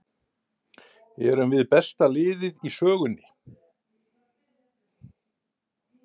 Erum við besta liðið í sögunni?